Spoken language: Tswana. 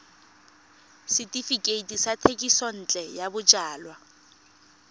setefikeiti sa thekisontle ya bojalwa